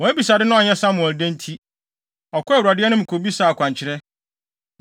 Wɔn abisade no anyɛ Samuel dɛ nti, ɔkɔɔ Awurade anim kobisaa akwankyerɛ.